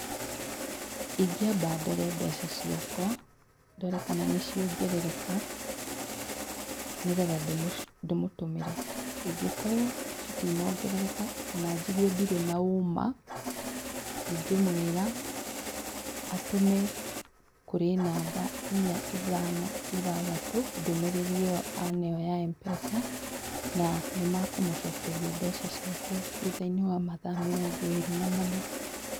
Ingĩamba ndore mbeca ciakwa ndore kana nĩciongerereka nĩgetha ndĩmũtũmĩre, ingĩ korwo citinongerereka kana njigue ndirĩ na ũũma ndingĩmwĩra atũme kũrĩ namba inya, ithano, ithathatũ ndũmĩrĩri ĩyo aneo ya M-Pesa na nĩmakũcokeria mbeca ciake thutha-inĩ wa mathaa mĩrongo ĩrĩ na mana